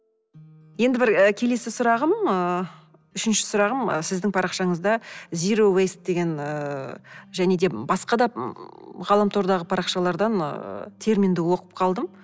енді бір келесі сұрағым ы үшінші сұрағым ы сіздің парақшанызда зироуэйс деген ыыы және де басқа да ғаламтордағы парақшалардан ыыы терминді оқып қалдым